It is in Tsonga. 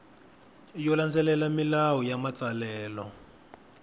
yo landzelela milawu ya matsalelo